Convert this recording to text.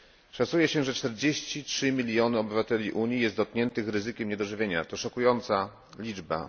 Szacuje się, że 43 miliony obywateli Unii jest dotkniętych ryzykiem niedożywienia to szokująca liczba.